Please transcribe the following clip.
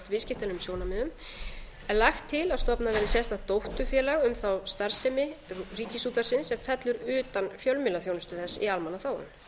viðskiptalegum sjónarmiðum er lagt til að stofnað verði sérstakt dótturfélag um þá starfsemi ríkisútvarpsins sem fellur utan fjölmiðlaþjónustu þess í almannaþágu